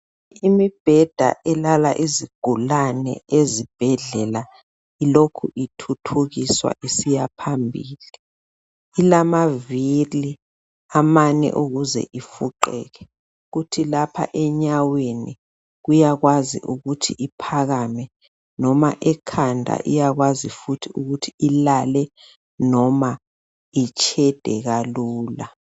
Imibheda elala izigulane ezibhedlela ilokhu ithuthukiswa isiyaphambili. Ilamavili amane ukuze ifuqeke kuthi lapha enyaweni iyakwazi ukuthi iphakame noma ekhanda iyakwazi futhi ukuthi ilale loba itshede kalula.